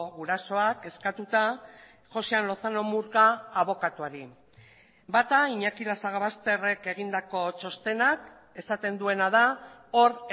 gurasoak eskatuta joxean lozano murga abokatuari bata iñaki lasagabasterrek egindako txostenak esaten duena da hor